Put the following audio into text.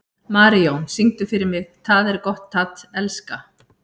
Marijón, syngdu fyrir mig „Tað er gott at elska“.